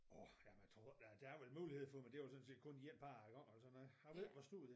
Årh jamen jeg tror godt der er vel mulighed for men det jo sådan set kun en gange eller sådan noget jeg ved ikke hvor stor den er